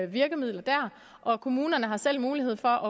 virkemidler og kommunerne har selv mulighed for